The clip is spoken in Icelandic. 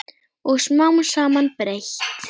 Og smám saman breyt